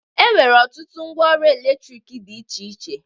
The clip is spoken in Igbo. E nwere ọtụtụ ngwa ọrụ elektriki dị iche iche